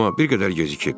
Amma bir qədər gecikib.